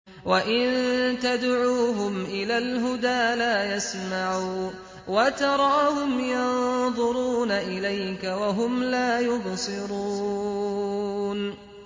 وَإِن تَدْعُوهُمْ إِلَى الْهُدَىٰ لَا يَسْمَعُوا ۖ وَتَرَاهُمْ يَنظُرُونَ إِلَيْكَ وَهُمْ لَا يُبْصِرُونَ